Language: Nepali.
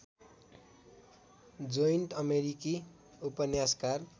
जोइन्ट अमेरिकी उपन्यासकार